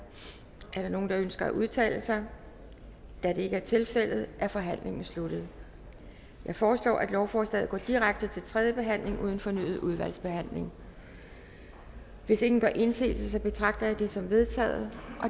er der nogen der ønsker at udtale sig da det ikke er tilfældet er forhandlingen sluttet jeg foreslår at lovforslaget går direkte til tredje behandling uden fornyet udvalgsbehandling hvis ingen gør indsigelse betragter jeg det som vedtaget